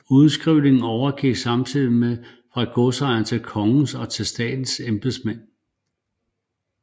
Udskrivningen overgik samtidigt fra godsejernes til kongens og statens embedsmænd